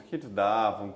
davam?